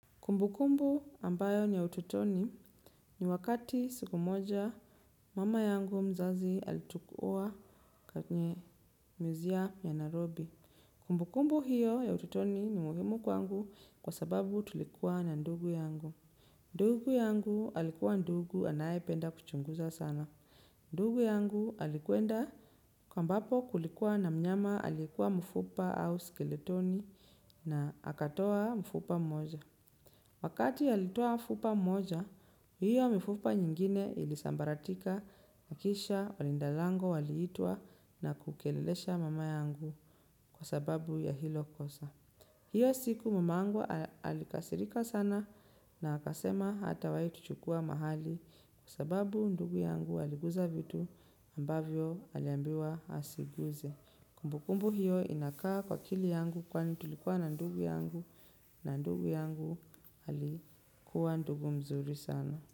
Kumbu kumbu ambayo ni ya ututoni ni wakati siku moja mama yangu mzazi alitukuua katnye muzia ya narobi. Kumbu kumbu hiyo ya ututoni ni muhimu kwangu kwa sababu tulikuwa na ndugu yangu. Ndugu yangu alikuwa ndugu anayependa kuchunguza sana. Ndugu yangu alikwenda ambapo kulikuwa na mnyama alikuwa mfupa au skeletoni na akatoa mfupa mmoja. Wakati alitoa mfupa moja, hiyo mifupa nyingine ilisambaratika na kisha walindalango waliitwa na kukelelesha mama yangu kwa sababu ya hilo kosa. Hiyo siku mamangu alikasirika sana na akasema hatawai tuchukua mahali kwa sababu ndugu yangu aliguza vitu ambavyo aliambiwa asiguze. Kumbu kumbu hiyo inakaa kwa akili yangu kwa ni tulikuwa na ndugu yangu na ndugu yangu alikuwa ndugu mzuri sana.